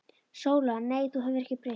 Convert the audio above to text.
SÓLA: Nei, þú hefur ekkert breyst.